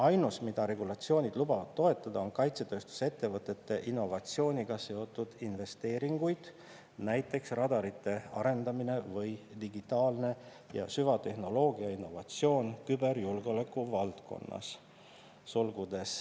Ainus, mida regulatsioonid lubavad toetada, on kaitsetööstusettevõtete innovatsiooniga seotud investeeringuid - nt radarite arendamine või digitaalne ja süvatehnoloogia innovatsioon küberjulgeoleku valdkonnas .